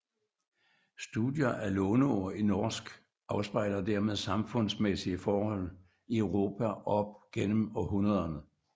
Studier af låneord i norsk afspejler dermed samfundsmæssige forhold i Europa op gennem århundrederne